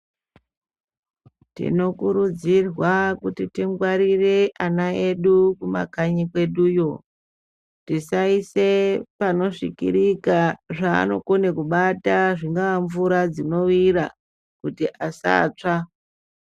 Tinokurudzirwa kuti tingwarire ana edu kumakanyi kweduyo, tisaise panosvikirika zvanokone kubata zvinonga mvura dzinoira kuti asatsva.